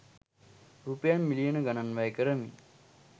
රුපියල් මිලියන ගණන් වැය කරමින්